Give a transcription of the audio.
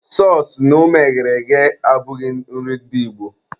Sọọsụ na ụmụ eghere eghe abụghị nri ndị Igbo.